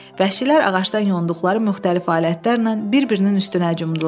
Vəhşilər ağacdan yonduqları müxtəlif alətlərlə bir-birinin üstünə cumdular.